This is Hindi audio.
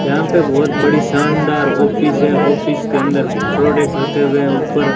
यहां पे बहुत बड़ी शानदार ऑफिस है। ऑफिस के अंदर प्रोडक्ट रखे हुए हैं ऊपर--